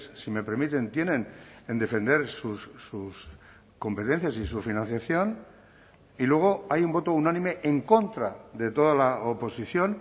si me permiten tienen en defender sus competencias y su financiación y luego hay un voto unánime en contra de toda la oposición